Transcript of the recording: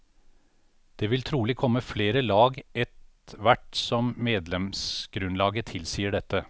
Det vil trolig komme flere lag ett hvert som medlemsgrunnlaget tilsier dette.